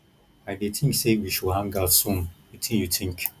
i dey think say we should hang out soon wetin you think